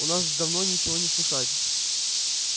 у нас давно ничего не слыхать